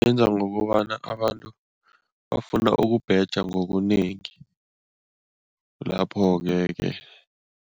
Yenza ngokobana abantu bafuna ukubheja ngobunengi lapho-ke ke.